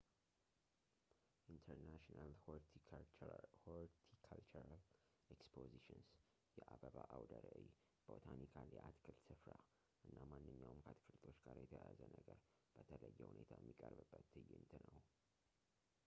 international horticultural expositions የአበባ አውደ ራዕይ ፣ botanical የአትክልት ስፍራ እና ማንኛውም ከአትክልቶች ጋር የተያያዘ ነገር በተለየ ሁኔታየሚቀርብበት ትዕይንት ነው